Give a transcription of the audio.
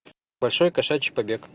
большой кошачий побег